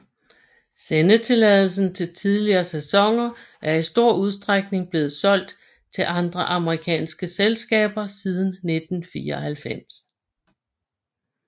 Sendetilladelsen til tidligere sæsoner er i stor udstrækning blevet solgt til andre amerikanske selskaber siden 1994